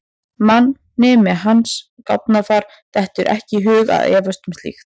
Manni með hans gáfnafar dettur ekki í hug að efast um slíkt.